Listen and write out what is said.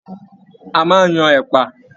A máa n yan ẹpa.